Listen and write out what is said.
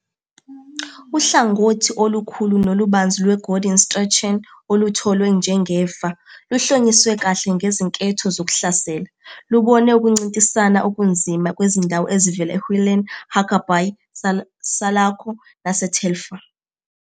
Uhlangothi olukhulu nolubanzi lweGordon Strachan olutholwe njengefa, luhlonyiswe kahle ngezinketho zokuhlasela, lubone ukuncintisana okunzima kwezindawo ezivela eWhelan, Huckerby, Salako naseTelfer.